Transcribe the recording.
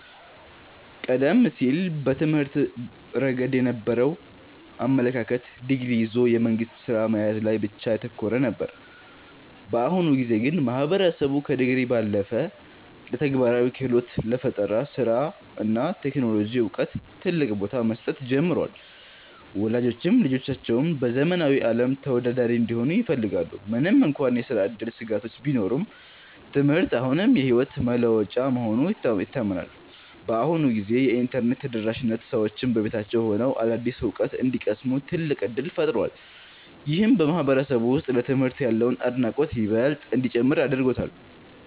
ቀደም ሲል በትምህርት ረገድ የነበረው አመለካከት ዲግሪ ይዞ የመንግሥት ሥራ መያዝ ላይ ብቻ ያተኮረ ነበር። በአሁኑ ጊዜ ግን ማህበረሰቡ ከዲግሪ ባለፈ ለተግባራዊ ክህሎት፣ ለፈጠራ ሥራ እና ለቴክኖሎጂ ዕውቀት ትልቅ ቦታ መስጠት ጀምሯል። ወላጆችም ልጆቻቸው በዘመናዊው ዓለም ተወዳዳሪ እንዲሆኑ ይፈልጋሉ። ምንም እንኳን የሥራ ዕድል ስጋቶች ቢኖሩም፣ ትምህርት አሁንም የሕይወት መለወጫ መሆኑ ይታመናል። በአሁኑ ጊዜ የኢንተርኔት ተደራሽነት ሰዎች በቤታቸው ሆነው አዳዲስ ዕውቀት እንዲቀስሙ ትልቅ ዕድል ፈጥሯል። ይህም በማህበረሰቡ ውስጥ ለትምህርት ያለውን አድናቆት ይበልጥ እንዲጨምር አድርጎታል።